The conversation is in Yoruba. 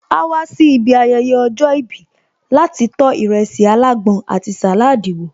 Áá wá sí ibi ayẹyẹ ọjọ́ ìbí láti tó ìrẹsì alágbọn àti salad wo